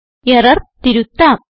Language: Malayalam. എറർ തിരുത്താം